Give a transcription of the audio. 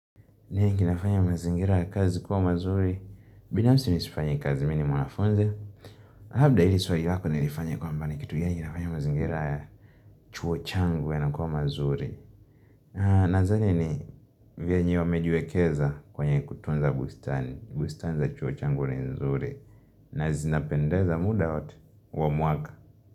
Niye kinafanya mazingira ya kazi kuwa mazuri Bina msi nisifanya kazi mini mwanafunzi Habda ili swaji wako nilifanya kwa mbani kitu ya nginafanya mazingira ya chuo changu ya na kuwa mazuri Nadhani ni vya nyo mejuwekeza kwenye kutunza bustani bustani za chuo changu ya nzuri Nazinapendeza muda hoti Uwamwaka.